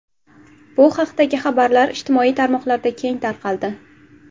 Bu haqdagi xabarlar ijtimoiy tarmoqlarda keng tarqaldi.